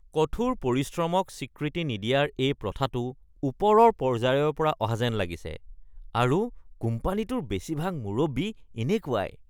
কঠোৰ পৰিশ্ৰমক স্বীকৃতি নিদিয়াৰ এই প্ৰথাটো ওপৰৰ পৰ্যায়ৰ পৰা অহা যেন লাগিছে আৰু কোম্পানীটোৰ বেছিভাগ মুৰব্বী এনেকুৱাই।